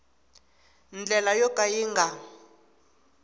ndlela yo ka yi nga